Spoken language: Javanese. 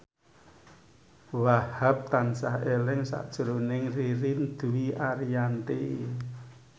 Wahhab tansah eling sakjroning Ririn Dwi Ariyanti